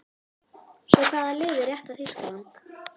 Svo hvaða lið er rétta Þýskaland?